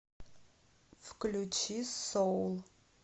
включи соул